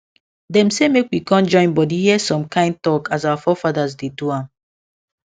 dem say make we con join body hear some kind talk as our forefathers dey do am